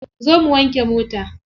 Zo mu wanke mota.